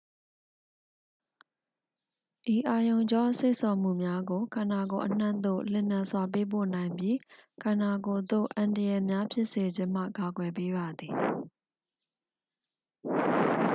ဤအာရုံကြော စေ့ဆော်မှုများကို ခန္ဓာကိုယ်အနှံ့သို့ လျင်မြန်စွာ ပေးပို့နိုင်ပြီး ခန္ဓာကိုယ်သို့ အန္တရာယ်များ ဖြစ်စေခြင်းမှ ကာကွယ်ပေးပါသည်